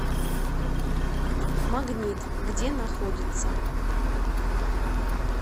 магнит где находится